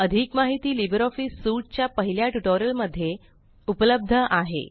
अधिक माहिती Libre Office suite च्या पहिल्या ट्यूटोरियल मध्ये उपलब्ध आहे